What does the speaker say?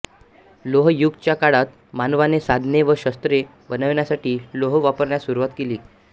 लोह युग च्या काळात मानवाने साधने व शस्त्रे बनवण्यासाठी लोह वापरण्यास सुरवात केली